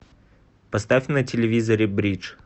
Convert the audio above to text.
поставь на телевизоре бридж